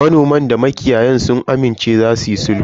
Manoman da makiyayan sun amince za suyi sulhu.